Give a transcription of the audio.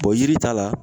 yiri ta la